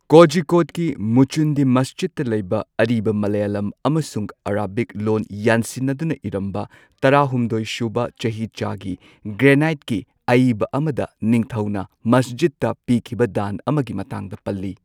ꯀꯣꯖꯤꯀꯣꯗꯀꯤ ꯃꯨꯆꯨꯟꯗꯤ ꯃꯁꯖꯤꯗꯇ ꯂꯩꯕ ꯑꯔꯤꯕ ꯃꯥꯂꯥꯌꯥꯂꯝ ꯑꯃꯁꯨꯡ ꯑꯔꯥꯕꯤꯛ ꯂꯣꯟ ꯌꯥꯟꯁꯤꯟꯅꯗꯨꯅ ꯏꯔꯝꯕ ꯇꯔꯥꯍꯨꯝꯗꯣꯏꯁꯨꯕ ꯆꯍꯤꯆꯥꯒꯤ ꯒ꯭ꯔꯦꯅꯥꯏꯠꯀꯤ ꯑꯏꯕ ꯑꯃꯗ ꯅꯤꯡꯊꯧꯅ ꯃꯁꯖꯤꯗꯇ ꯄꯤꯈꯤꯕ ꯗꯥꯟ ꯑꯃꯒꯤ ꯃꯇꯥꯡꯗ ꯄꯜꯂꯤ꯫